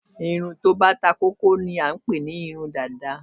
irun tí ó bá takókó ni à ń pé ní irun Dàda